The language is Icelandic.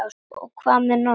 Og hvað með Nonna?